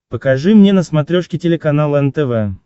покажи мне на смотрешке телеканал нтв